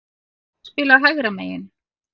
Ég hef spilað hægra megin.